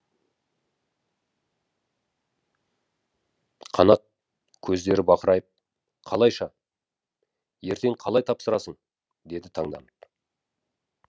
қанат көздері бақырайып қалайша ертең қалай тапсырасың деді таңданып